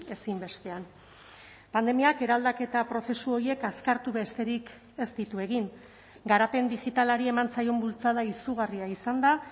ezinbestean pandemiak eraldaketa prozesu horiek azkartu besterik ez ditu egin garapen digitalari eman zaion bultzada izugarria izan da